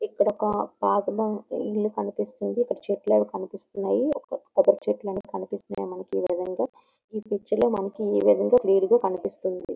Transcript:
ఇక్కడ ఒక పాతబడిన ఇల్లు కనిపిస్తుంది. చెట్లు అవి కనిపిస్తున్నాయి. కొబ్బరి చెట్లు కూడా కనిపిస్తున్నాయి మనకి ఈ విధంగా. ఈ పిక్చర్ లో మనకి ఈ విధంగా క్లియర్ గా కనిపిస్తుంది.